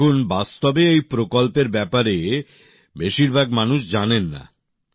দেখুন বাস্তবে এই প্রকল্পের ব্যপারে বেশিরভাগ মানুষ জানেন না